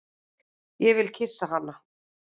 Ég vil kyssa hana.